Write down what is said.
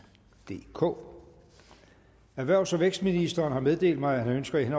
DK erhvervs og vækstministeren har meddelt mig at han ønsker i